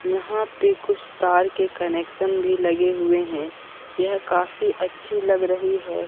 यहां पे कुछ तार के कनेक्शन भी लगे हुए हैं यह काफी अच्छी लग रही है।